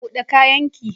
Bude kayan ki!